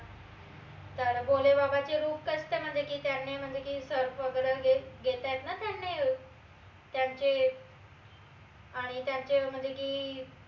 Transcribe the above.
तर भोले बाबाचे रूप कशे म्हनजे की त्यांनी म्हनजे की सर्प वगैरे हे घेतायत ना अह त्यांने त्यांचे आणि त्यांचे म्हनजे की अह